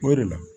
O de la